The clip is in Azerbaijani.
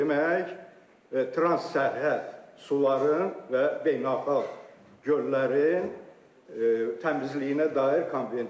Bu demək, trans sərhəd suların və beynəlxalq göllərin təmizliyinə dair konvensiya.